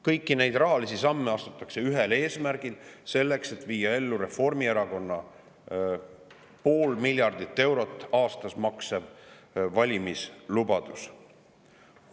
Kõiki neid rahalisi samme astutakse ühel eesmärgil: selleks, et viia ellu Reformierakonna 0,5 miljardit eurot aastas maksev valimislubadus.